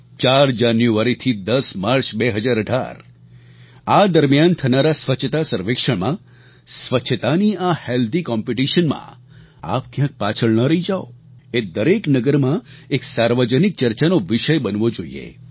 4 January થી 10 March 2018 આ દરમિયાન થનારા સ્વચ્છતા સર્વેક્ષણમાં સ્વચ્છતાની આ હેલ્થી કોમ્પિટિશન માં આપ ક્યાંક પાછળ ન રહી જાઓ એ દરેક નગરમાં એક સાર્વજનિક ચર્ચાનો વિષય બનવો જોઈએ